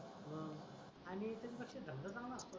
आणि त्याच्या पेक्षा धंदा चांगला असतो रे